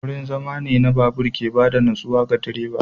Wurin zama wuri ne na babur wanda ke ba da natsuwa ga direba.